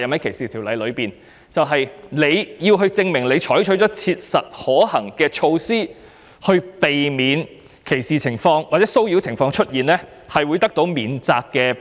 這些人士必須證明已採取切實可行的步驟，避免歧視或騷擾的情況出現，這樣才會有免責保護。